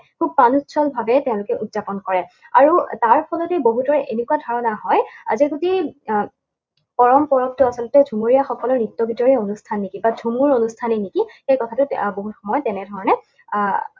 খুব ভাৱে তেঁওলোকে উৎযাপন কৰে। আৰু তাৰ ফলতে বহুতৰ এনেকুৱা ধাৰণা হয়, আজি যদি কৰম পৰৱটো আচলতে ঝুমুৰীয়াসকলৰ নৃত্য গীতৰেই অনুষ্ঠান নেকি, বা ঝুমুৰ অনুষ্ঠানেই নেকি, সেই কথাটো বহুত সময়ত তেনেধৰণে